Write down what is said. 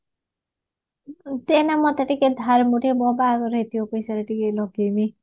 ତୁ ଏଇନା ମତେ ଟିକେ ମୁଁ ଟିକେ ମୋ ବାହାଘର ହେଇଥିବ ସେମିତି ଟିକେ ଲଗେଇବି